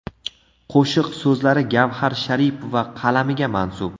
Qo‘shiq so‘zlari Gavhar Sharipova qalamiga mansub.